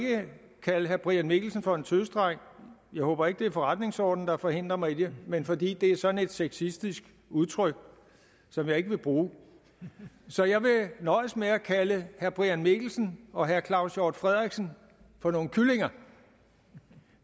kalde herre brian mikkelsen for en tøsedreng jeg håber ikke det er forretningsordenen der forhindrer mig i det men fordi det er sådan et sexistisk udtryk som jeg ikke vil bruge så jeg vil nøjes med at kalde herre brian mikkelsen og herre claus hjort frederiksen for nogle kyllinger